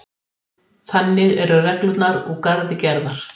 Þannig eru reglurnar úr garði gerðar